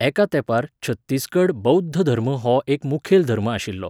एका तेंपार छत्तीसगड बौध्द धर्म हो एक मुखेल धर्म आशिल्लो.